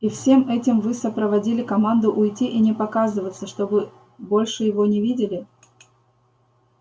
и всем этим вы сопроводили команду уйти и не показываться чтобы больше его не видели